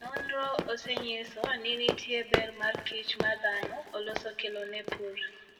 Nonro osenyiso ni nitie ber ma kich ma dhano oloso kelo ne pur.